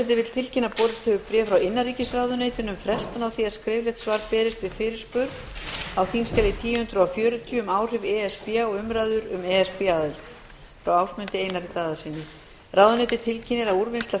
borist hefur bréf frá innanríkisráðuneyti um frestun á því að skriflegt svar berist við fyrirspurn á þingskjali þúsund fjörutíu um áhrif e s b á umræður um e s b aðild frá ásmundi einari daðasyni ráðuneytið tilkynnir að úrvinnsla